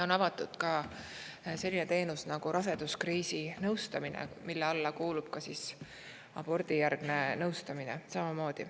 On avatud ka selline teenus nagu raseduskriisi nõustamine, mille alla kuulub ka abordijärgne nõustamine.